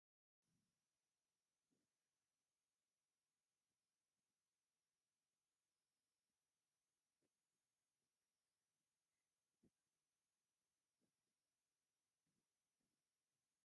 ስላጣ ካብ ንጥዕናና ጠቀምቲ ኣሕምልትን ቆስላቆፅልን ሓደ እዩ ። ስላጣ ኣብ እንሽተይ ቦታ ምፍራይ ይካኣል እዩ ። ንስካትኩም ኣብ ገዛኩም ኣፍሪኩም ወይ ተከሊኩም ትፈልጡ ዶ ?